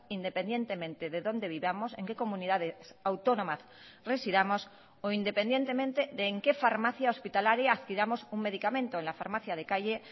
independientemente de dónde vivamos en qué comunidades autónomas residamos o independientemente de en qué farmacia hospitalaria adquiramos un medicamento en la farmacia de calle